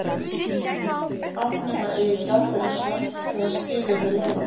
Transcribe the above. Afnema eigi gjaldeyrishöft þegar skilyrði leyfa